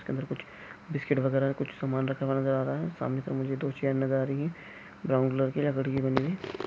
अंदर कुछ बिस्किट वगैरह कुछ सामान रखा हुआ नजर आ रहा है सामने तरफ मुझे दो चेयर नजर आ रही है ब्राउन कलर की बनी हुइ ।